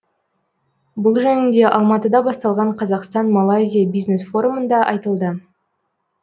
бұл жөнінде алматыда басталған қазақстан малайзия бизнес форумында айтылды